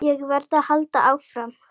Ég verð að halda áfram.